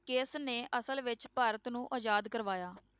ਕਿਸ ਨੇ ਅਸਲ ਵਿੱਚ ਭਾਰਤ ਨੂੰ ਆਜ਼ਾਦ ਕਰਵਾਇਆ?